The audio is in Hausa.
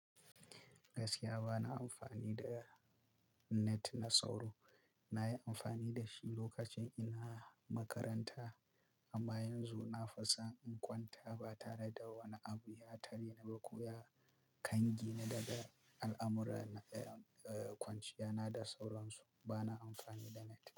Gaskiya bana amfani da net na sauro. Nayi amfani dashi lokacin ina makaranta amman yanzu nafison in kwanta ba tare da wani abu ya tareni ko ya kangi ne daga al amurana kwanciyana da sauransu bana amfani da net.